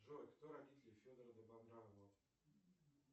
джой кто родители федора добронравова